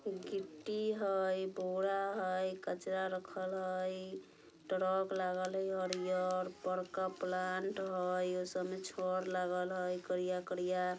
गिट्टी हई बोरा हई कचरा रखल हई ट्रक लागल हई हरियर बड़का प्लांट हई | ओसब मे छड़ लागल हई करिया करिया |